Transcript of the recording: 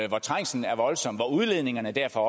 hvor trængslen er voldsom hvor udledningerne derfor